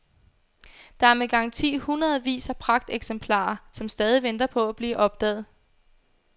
Der er med garanti hundredevis af pragteksemplarer, som stadig venter på at blive opdaget.